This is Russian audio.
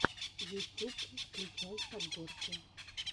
ютюб включай подборки